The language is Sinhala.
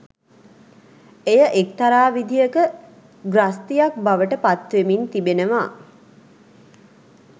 එය එක්තරා විදිහක ග්‍රස්තියක් බවට පත් වෙමින් තිබෙනවා.